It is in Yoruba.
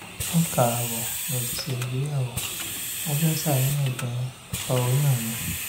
ọdún kan ààbọ̀ ni mo ti ṣègbéyàwó mo sì ń ṣàníyàn gan-an nípa oyún mi